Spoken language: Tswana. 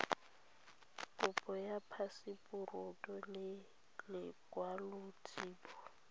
kopo ya phaseporoto le lekwaloitshupo